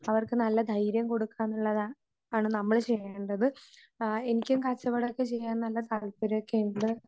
അവർക്ക് നല്ല ധൈര്യം കൊടുക്കാന്നുള്ളതാണ് നമ്മൾ ചെയ്യേണ്ടത്. ആഹ് എനിക്കും കച്ചവടവൊക്കെ ചെയ്യാൻ നല്ല താല്പര്യയൊക്കെയുണ്ട്.